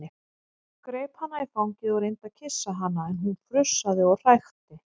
Greip hana í fangið og reyndi að kyssa hana en hún frussaði og hrækti.